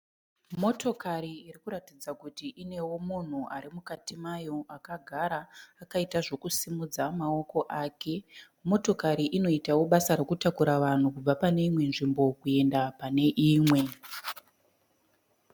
Motokari irikuratidza kuti inewo munhu ari mukati mayo akagara akaita zvekusimudza maoko ake. Motokari inoitawo basa rekutakura vanhu kubva panei nwe nzvimbo kuenda pane imwe.